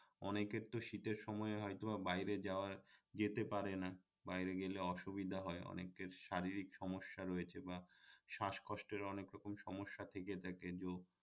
অনেকের তো শীতের সময় হয়তো বা বাইরে যাওয়া যেতে পারে না বাইরে গেলে অসুবিধা হয় অনেকের শারীরিক সমস্যা রয়েছে বা শাসকষ্টের অনেক রকম সমস্যা থেকে থাকে